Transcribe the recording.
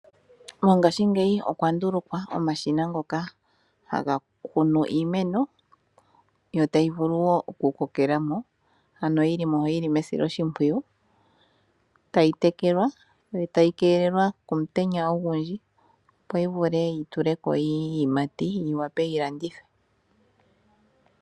Mongaashingeyi okwa ndulukwa omashina ngoka haga kunu iimeno, yo tayi vulu wo oku kokela mo ano yili mo yili mesiloshimpwiyu, tayi tekelwa, yo tayi keelelwa komutenya ogundji, opo yi vule yi tule ko iiyimati, yi wape yi landithwe.